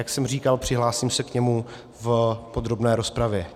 Jak jsem říkal, přihlásím se k němu v podrobné rozpravě.